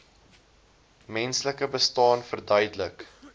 menslike bestaan verduidelik